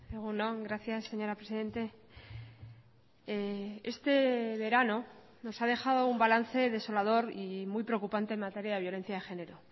egun on gracias señora presidente este verano nos ha dejado un balance desolador y muy preocupante en materia de violencia de género